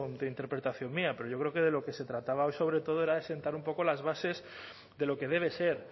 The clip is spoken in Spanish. de interpretación mía pero yo creo que de lo que se trataba hoy sobre todo era de sentar un poco las bases de lo que debe ser